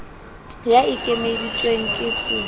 ya e ekeditsweng ke s